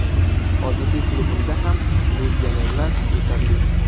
Hozirgi klubimda ham legionerlar yetarli.